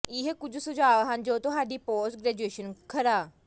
ਇਹ ਕੁਝ ਸੁਝਾਅ ਹਨ ਜੋ ਤੁਹਾਡੀ ਪੋਸਟ ਗ੍ਰੈਜੂਏਸ਼ਨ ਗਰਾ